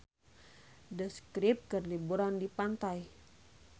The Script keur liburan di pantai